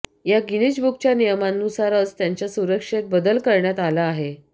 या ग्नीन बुकच्या नियमांनुसारच त्यांच्या सुरक्षेत बदल करण्यात आला आहे